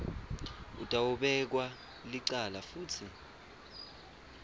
utawubekwa licala futsi